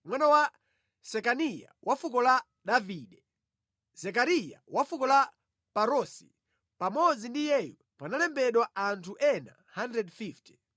mwana wa Sekaniya wa fuko la Davide; Zekariya wa fuko la Parosi. Pamodzi ndi iyeyu panalembedwa anthu ena 150;